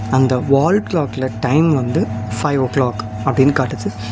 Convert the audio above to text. அந்த வால் கிளாக்ல டைம் வந்து ஃபைவ் ஒ கிளாக் அப்டின்னு காட்டுது.